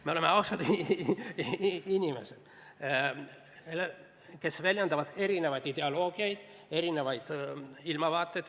Me oleme ausad inimesed, kes pooldavad erinevaid ideoloogiaid, erinevaid ilmavaateid.